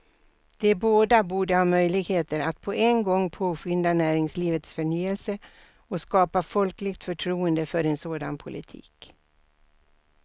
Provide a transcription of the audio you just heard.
De båda borde ha möjligheter att på en gång påskynda näringslivets förnyelse och skapa folkligt förtroende för en sådan politik.